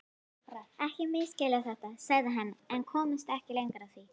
Ekki misskilja þetta, sagði hann en komst ekki lengra því